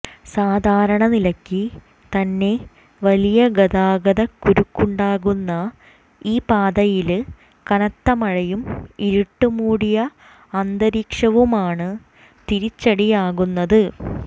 സാധാരണ നിലക്ക് തന്നെ വലിയ ഗതാഗത കുരുക്കുണ്ടാകുന്ന ഈ പാതയില് കനത്ത മഴയും ഇരുട്ട് മൂടിയ അന്തരീക്ഷവുമാണ് തിരിച്ചടിയാകുന്നത്